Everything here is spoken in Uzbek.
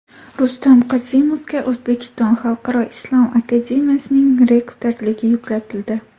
Rustam Qosimovga O‘zbekiston xalqaro islom akademiyasining rektorligi yuklatildi.